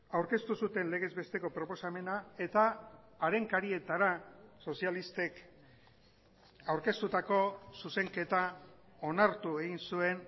aurkeztu zuten legezbesteko proposamena eta haren karietara sozialistek aurkeztutako zuzenketa onartu egin zuen